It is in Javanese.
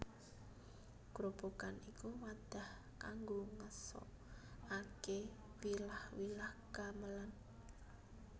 Grobogan iku wadah kanggo ngeso ake wilah wilah gamelan